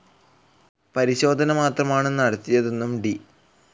പരിശോധന മാത്രമാണ് നടത്തിയതെന്നും ഡി.